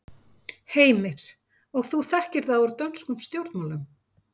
Heimir: Og þú þekkir það úr dönskum stjórnmálum?